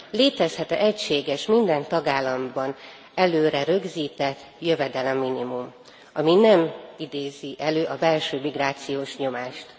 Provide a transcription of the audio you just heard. Létezhet e egységes, minden tagállamban előre rögzített jövedelemminimum, ami nem idézi elő a belső migrációs nyomást?